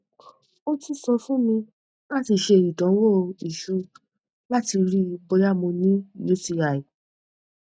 o tun sọ fun mi lati ṣe idanwo iṣu lati rii boya mo ni uti